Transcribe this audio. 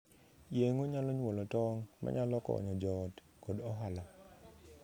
Yeng'o nyalo nyuolo tong' manyalo konyo joot koda ohala.